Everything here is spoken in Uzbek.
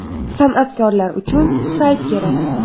San’atkorlar uchun sayt kerak.